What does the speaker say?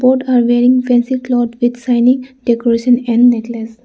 Both are wearing fancy cloth with shining decoration and necklace.